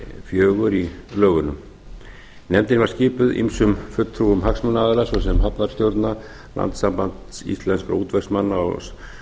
fjögur í lögunum nefndin var skipuð ýmsum fulltrúum hagsmunaaðila svo sem hafnarstjórnar landssambands íslenskum útvegsmanna